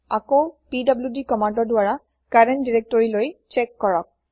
আকৌ পিডিডি কমান্দৰ দ্বাৰা কাৰেন্ত দিৰেক্তৰিলৈ চ্যেক কৰক